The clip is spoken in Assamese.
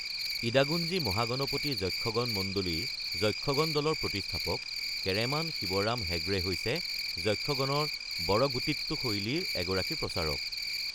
ইদাগুঞ্জি মহাগণপতি যক্ষগন মণ্ডলীৰ যক্ষগন দলৰ প্ৰতিষ্ঠাপক কেৰেমান শিৱৰাম হেগড়ে হৈছে যক্ষগনৰ বড়গুটিট্টু শৈলীৰ এগৰাকী প্ৰচাৰক।